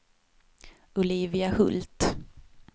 Olivia Hult